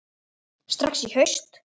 Strax í haust?